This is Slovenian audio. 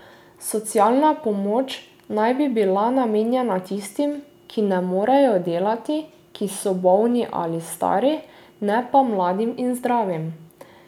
Socialna pomoč naj bi bila namenjena tistim, ki ne morejo delati, ki so bolni ali stari, ne pa mladim in zdravim.